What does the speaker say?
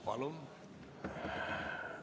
Palun!